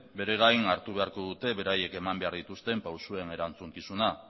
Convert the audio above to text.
bere gain hartu beharko dute beraiek eman behar dituzten pausuen erantzukizuna